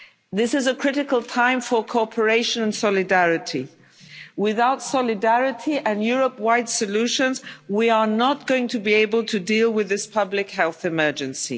This is a critical time for cooperation and solidarity. Without solidarity and Europe wide solutions, we are not going to be able to deal with this public health emergency.